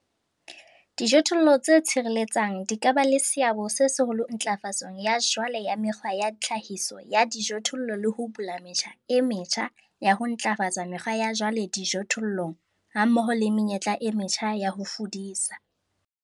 DIJOTHOLLO TSE TSHIRELETSANG DI KA BA LE SEABO SE SEHOLO NTLAFATSONG YA JWALE YA YA MEKGWA YA TLHAHISO YA DIJOTHOLLO LE HO BULA METJHA E METJHA YA HO NTLAFATSA MEKGWA YA JWALE DIJOTHOLLONG HAMMOHO LE MENYETLA E METJHA YA HO FUDISA.